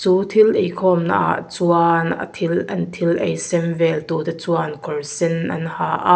chu thil eikhawmna ah chuan a thil an thil ei sem vel tu te chuan kawr sen an ha a.